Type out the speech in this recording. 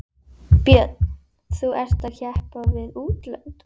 Björn: Þú ert að keppa við útlönd?